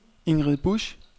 Ingrid Busch